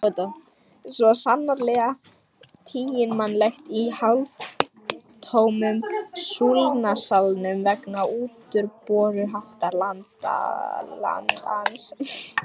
Svo sannarlega tiginmannlegt í hálftómum Súlnasalnum vegna útúrboruháttar landans.